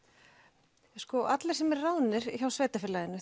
sko allir sem eru ráðnir hjá sveitarfélaginu